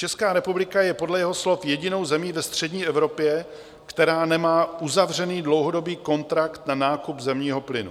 Česká republika je podle jeho slov jedinou zemí ve střední Evropě, která nemá uzavřený dlouhodobý kontrakt na nákup zemního plynu.